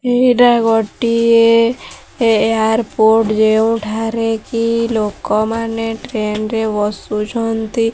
ଏଇଟା ଗୋଟିଏ ଏୟାରପୋର୍ଟ ଯେଉଁଠାରେ କି ଲୋକମାନେ ଟ୍ରେନ ରେ ବସୁଛନ୍ତି।